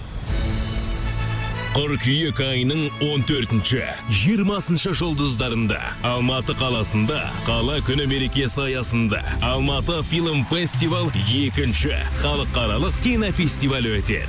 қыркүйек айының он төртінші жиырмасыншы жұлдыздарында алматы қаласында қала күні мерекесі аясында алматы фильм фестивал екінші халықаралық кинофестивалі өтеді